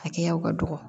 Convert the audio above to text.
Hakɛyaw ka dɔgɔ